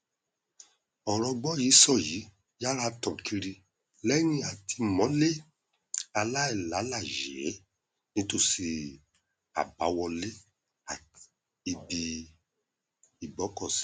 ọrọ gbọyìísọyìí yára tàn kiri lẹyìn àtìmọlé aláìlàláyèé nítòsí àbáwọlé um ibi ìgbọkọsí